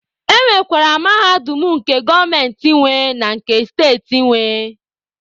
E nwekwara Mahadum nke gọọmenti nwe na nke steeti nwe.